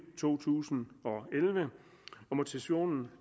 to tusind og elleve motivationen